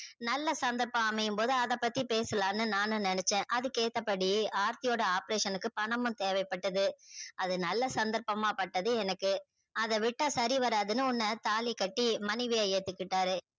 நல்ல சந்தர்பம் அமையும் போது நானே பேசலான்னு நெனச்ச அதுக்கு ஏத்தா படியே ஆர்த்தி யோட ஆபரேஷன் க்கு பணமும் தேவை பட்டத அது நல்ல சந்தர்ப்பமா பட்டது எனக்கு அத விட்டா சரி வராதுன்னு உன்ன தாலி கட்டி மனைவியா ஏத்துகிட்டாறு